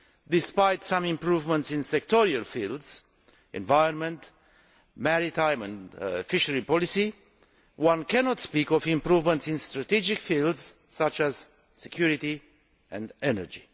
Despite some improvements in sectoral fields environment, maritime and fisheries policy one cannot speak of improvements in strategic fields such as security and energy.